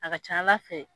A ka ca ala fɛ